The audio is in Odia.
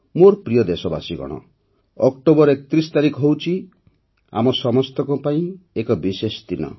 ମୋର ପ୍ରିୟ ଦେଶବାସୀଗଣ ଅକ୍ଟୋବର ୩୧ ତାରିଖ ହେଉଛି ଆମ ସମସ୍ତଙ୍କ ପାଇଁ ଏକ ବିଶେଷ ଦିନ